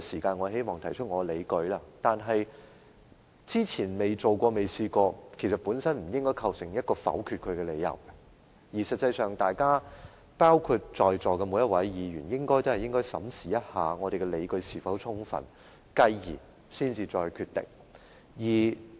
過去未曾提出類似議案，不應構成否決這項議案的理由，在席的每位議員也應該審視我們的理據是否充分，繼而再作決定。